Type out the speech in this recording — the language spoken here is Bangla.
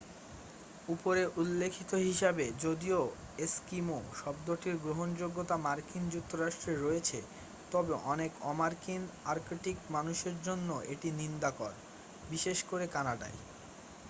"উপরে উল্লিখিত হিসাবে যদিও "এস্কিমো" শব্দটির গ্রহনযোগ্যতা মার্কিন যুক্তরাষ্ট্রে রয়েছে তবে অনেক অমার্কিন আর্কটিক মানুষের জন্য এটা নিন্দাকর বিশেষ করে কানাডায়।